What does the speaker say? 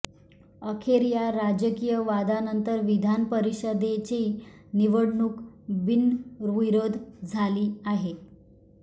अखेर या राजकीय वादानंतर विधान परिषदेची निवडणूक बिनविरोध झाली आहे